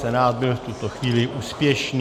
Senát byl v tuto chvíli úspěšný.